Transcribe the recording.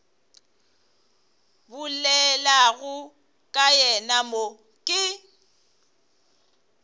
bolelago ka yena mo ke